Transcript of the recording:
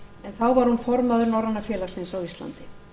þá var hún formaður norræna félagsins á íslandi